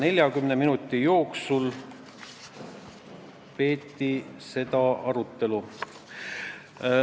40 minutit peeti arutelu.